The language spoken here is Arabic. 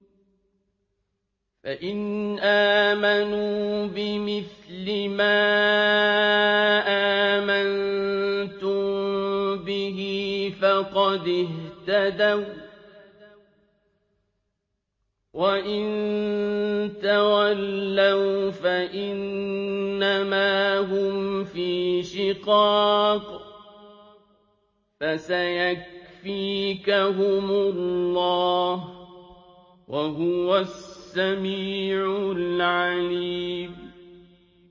فَإِنْ آمَنُوا بِمِثْلِ مَا آمَنتُم بِهِ فَقَدِ اهْتَدَوا ۖ وَّإِن تَوَلَّوْا فَإِنَّمَا هُمْ فِي شِقَاقٍ ۖ فَسَيَكْفِيكَهُمُ اللَّهُ ۚ وَهُوَ السَّمِيعُ الْعَلِيمُ